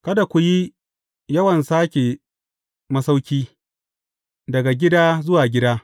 Kada ku yi yawan sāke masauƙi, daga gida zuwa gida.